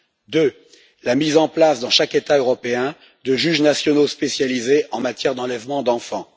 Ensuite, la mise en place dans chaque État européen de juges nationaux spécialisés en matière d'enlèvement d'enfants.